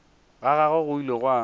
ga gagwe go ile gwa